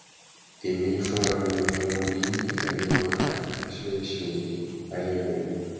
èmi fúnra mi ni mo mọ bí ìyáálé wa àgbà ṣe ń ṣe ayé wọn